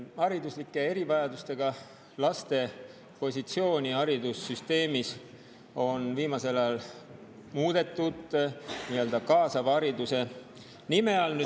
Hariduslike erivajadustega laste positsiooni haridussüsteemis on viimasel ajal muudetud nii‑öelda kaasava hariduse nime all.